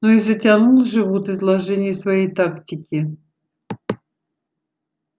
ну и затянул же вуд изложение своей тактики